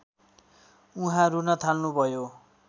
उहाँ रून थाल्नुभयो